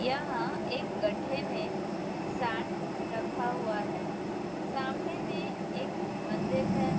यहाँ एक गड्ढे में सैंड रखा हुआ है। सामने में एक मंदिर है।